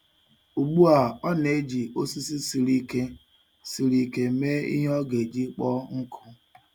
Ugbu a, ọ na-eji osisi siri ike siri ike mee ihe ọ ga-eji kpoo nkụ.